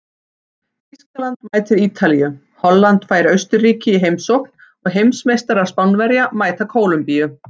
Þýskaland mætir Ítalíu, Holland fær Austurríki í heimsókn og heimsmeistarar Spánverjar mæta Kólumbíu.